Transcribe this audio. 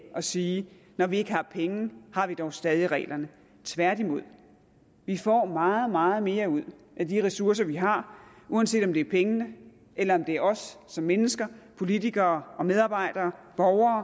og sige når vi ikke har penge har vi dog stadig reglerne tværtimod vi får meget meget mere ud af de ressourcer vi har uanset om det er pengene eller om det er os som mennesker politikere og medarbejdere og